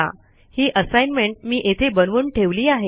ही assignment मी येथे बनवून ठेवली आहे